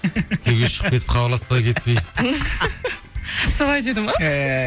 күйеуге шығып кетіп хабарласпай кетті дейді солай деді ме ііі